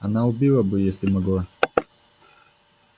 она убила бы если могла